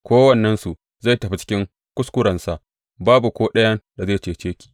Kowannensu zai tafi cikin kuskurensa; babu ko ɗayan da zai cece ki.